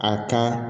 A ka